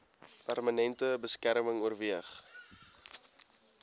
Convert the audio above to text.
permanente beskerming oorweeg